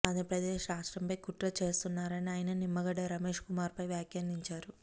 ఆంధ్రప్రదేశ్ రాష్ట్రంపై కుట్ర చేస్తున్నారని ఆయన నిమ్మగడ్డ రమేష్ కుమార్ పై వ్యాఖ్యానించారు